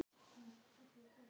Betra er geymt en gleymt.